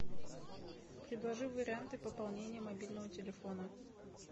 предложи варианты пополнения мобильного телефона